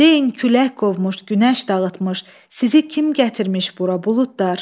Deyin külək qovmuş, günəş dağıtmış, sizi kim gətirmiş bura buludlar?